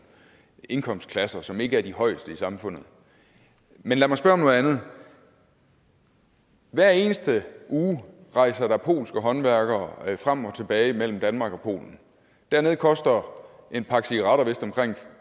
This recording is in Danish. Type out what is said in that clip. indkomstklasser som ikke er de højeste i samfundet men lad mig spørge om noget andet hver eneste uge rejser der polske håndværkere frem og tilbage mellem danmark og polen dernede koster en pakke cigaretter vist omkring